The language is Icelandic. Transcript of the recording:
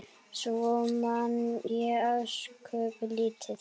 Svo man ég ósköp lítið.